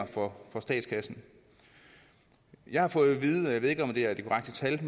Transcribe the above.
for statskassen jeg har fået vide jeg ved ikke om det er det korrekte tal at